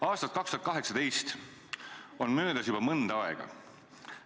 Aastast 2018 on möödas juba mõnda aega.